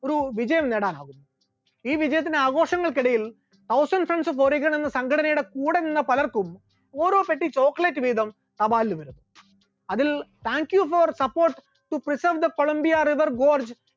ഒരു വിജയം നേടാനായി, ഈ വിജയത്തിന്റെ ആഘോഷങ്ങൾക്കിടയിൽ ഹൗസെൽ ഫെൻസ് ബോറീഗൻ എന്ന സംഘടനയുടെ കൂടെ നിന്ന പലർക്കും ഓരോ പെട്ടി chocolate വീതം ലഭ്യമായി, അതിൽ thank you for support to preserve the colombia river board